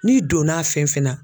N'i donn'a fɛn fɛn na